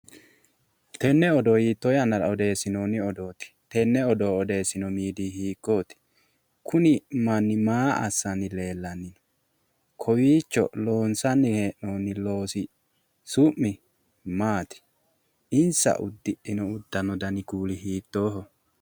Tene oddo hiito yanara odeesinooonni odooti? Tene oddo odeesino miidiyi hiikooti Kuni manni maa assani leelanno kowiicho loonsani he'inoyi loosi su'mi maati insa udidhino udanno dani kuuli hiitooho